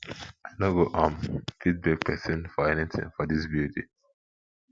i no go um fit beg person for anything for dis building